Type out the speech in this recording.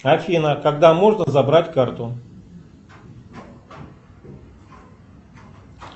афина когда можно забрать карту